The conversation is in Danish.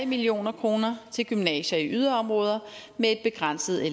million kroner til gymnasier i yderområder med et begrænset